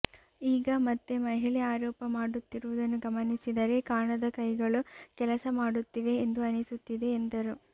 ಈಗ ಮತ್ತೆ ಮಹಿಳೆ ಆರೋಪ ಮಾಡುತ್ತಿರುವುದನ್ನು ಗಮನಿಸಿದರೆ ಕಾಣದ ಕೈಗಳು ಕೆಲಸ ಮಾಡುತ್ತಿವೆ ಎಂದು ಅನಿಸುತ್ತಿದೆ ಎಂದರು